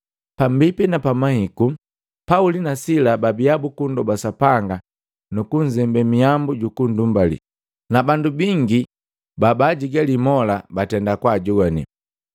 Pambipi na pamahiku, Pauli na Sila babia buku nndoba Sapanga nuku nzembe mihambu juku nndumbali, na bandu bangi bingi ba baajigali mola batenda kwaajongwane.